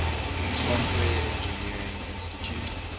software engineering institute